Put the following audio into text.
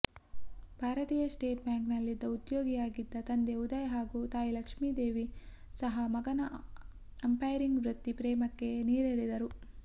ಭಾರತೀಯ ಸ್ಟೇಟ್ ಬ್ಯಾಂಕ್ನಲ್ಲಿ ಉದ್ಯೋಗಿಯಾಗಿದ್ದ ತಂದೆ ಉದಯ್ ಹಾಗೂ ತಾಯಿ ಲಕ್ಷ್ಮಿದೇವಿ ಸಹ ಮಗನ ಅಂಪೈರಿಂಗ್ ವೃತ್ತಿ ಪ್ರೇಮಕ್ಕೆ ನೀರೆರೆದರು